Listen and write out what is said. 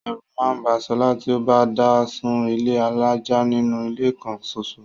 Ẹ̀rù máà ń ba Solá ti o bá dá sun ilé alájà nínú ilé kan soso.